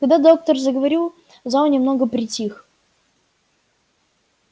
когда доктор заговорил зал немного притих